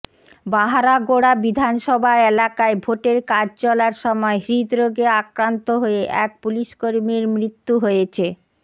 বাহারাগোড়া বিধানসভা এলাকায় ভোটের কাজ চলার সময় হৃদরোগে আক্রান্ত হয়ে এক পুলিশকর্মীর মৃত্যু হয়েছে